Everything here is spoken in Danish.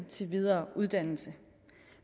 til videre uddannelse